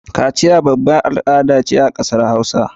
Kaciya babbar al ada ce ta ƙasar hausa